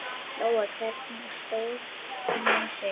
Lóa: Hvernig stóð hún sig?